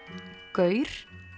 gaur